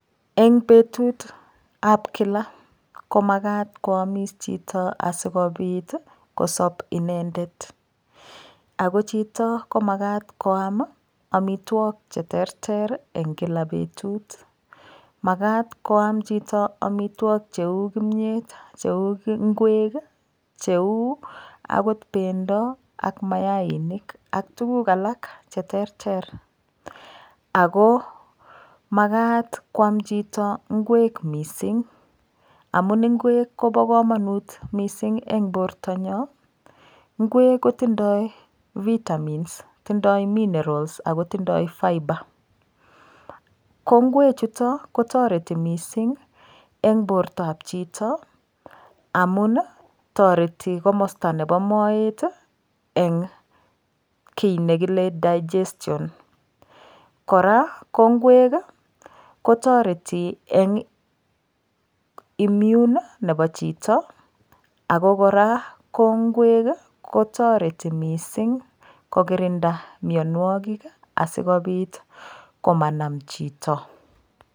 Eng' betutab kila komakat koamis chito asikobit kosop inendet ako chito komakat koam omitwok cheterter eng' kila betut makat koam chito amitwok cheu kimyet cheu ng'wek cheu akot bendo ak mayainik ak tukuk alak cheterter ako makat kwam chito ng'wek mising' amun ng'wek kobo kamanut mising' eng' borto nyo ng'wek kotindoi vitamins tindoi minerals ako tindoi fibre ko ng'wechuto kotoreti mising' eng' bortoab chito amun toreti komosta nebo moet eng' kii nekile digestion kora ko ng'wek kotoreti eng' immune nebo chito ako kora ko ng'wek kotoreti mising' kokirinda miyonwokik asikobit komanam chito